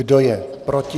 Kdo je proti?